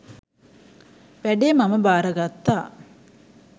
වැඩේ මම භාරගත්තා.